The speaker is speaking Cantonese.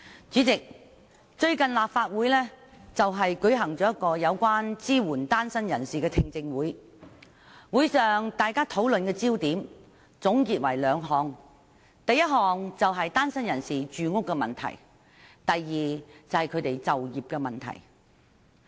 主席，最近立法會舉行了支援單身人士的聽證會，會上討論的焦點有兩個：其一，是單身人士的住屋問題；其二，是他們的就業問題。